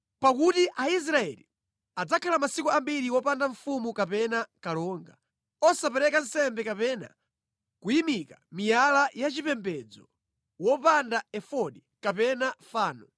Pakuti Aisraeli adzakhala masiku ambiri opanda mfumu kapena kalonga, osapereka nsembe kapena kuyimika miyala yachipembedzo, wopanda efodi kapena fano.